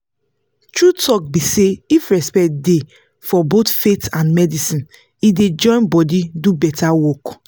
true talk be say if respect dey for both faith and medicine e dey join body do better work.